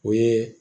O ye